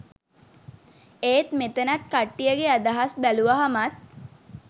ඒත් මෙතනත් කට්ටියගෙ අදහස් බැලුවහමත්